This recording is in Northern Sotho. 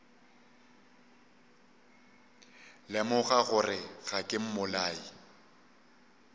lemoga gore ga ke mmolai